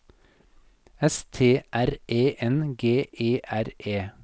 S T R E N G E R E